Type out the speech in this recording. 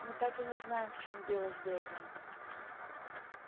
мы так и не знаем в чём дело с дейвом